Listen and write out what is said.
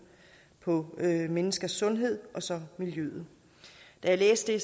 på menneskers sundhed og så miljøet da jeg læste det